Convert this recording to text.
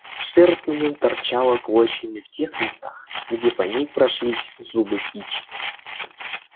шерсть на нем торчала клочьями в тех местах где по ней прошлись зубы кичи